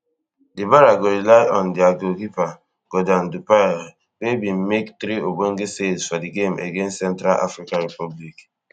di barea go rely on dia goalkeeper geordan dupire wey bin make three ogbonge saves for di game against central africa republic